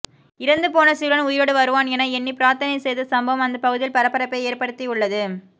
இறந்து போன சிறுவன் உயிரோடு வருவான் என எண்ணி பிரார்த்தனை செய்த சம்பவம் அந்த பகுதியில் பரபரப்பை ஏற்படுத்தியுள்ளது